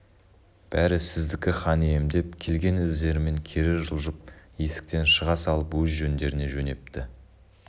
бәрі сіздікі хан ием деп келген іздерімен кері жылжып есіктен шыға салып өз жөндеріне жөнепті